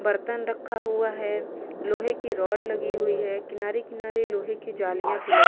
बर्तन रखा हुआ है। लोहे की रॉड लगी हुई हैं। किनारे-किनारे लोहे की जालियां भी लगी --